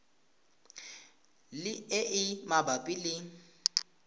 le e e mabapi le